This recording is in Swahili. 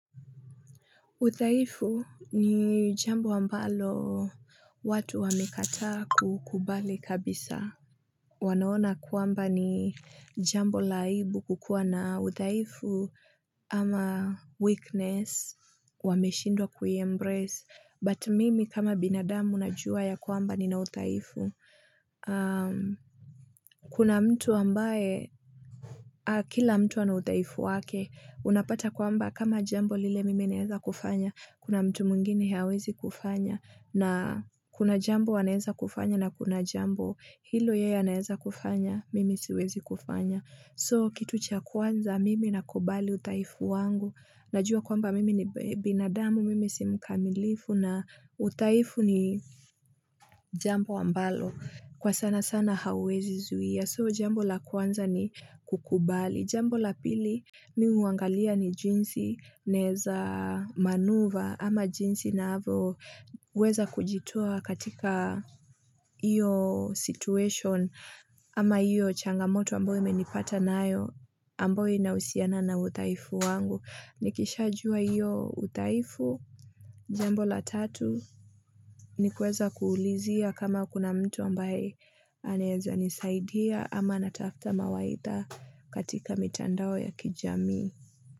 Udhaifu ni jambo ambalo watu wamekataa kukubali kabisa. Wanaona kwamba ni jambo la aibu kukuwa na udhaifu ama weakness. Wameshindwa kuyembrace. But mimi kama binadamu najua ya kwamba ni na udhaifu. Kuna mtu ambaye, kila mtu wana udhaifu wake, unapata kwamba kama jambo lile mimi naeza kufanya. Kuna mtu mwingine hawezi kufanya na kuna jambo anaeza kufanya na kuna jambo hilo yeye anaeza kufanya, mimi siwezi kufanya. So, kitu cha kwanza, mimi na kubali udhaifu wangu. Najua kwamba mimi ni binadamu, mimi si mkamilifu na udhaifu ni jambo ambalo. Kwa sana sana hauwezi zuia. So, jambo la kwanza ni kukubali. Jambo la pili ni uangalia ni jinsi naeza manuva ama jinsi na avo uweza kujitoa katika iyo situation ama iyo changamoto ambao imenipata nayo ambao ina usiana na udhaifu wangu. Nikishajua iyo udhaifu, jambo la tatu, ni kuweza kuulizia kama kuna mtu ambaye anaeza nisaidia ama natafta mawaidha katika mitandao ya kijamii.